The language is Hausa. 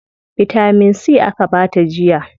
Bitamin C aka bata jiya.